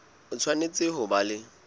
o tshwanetse ho ba le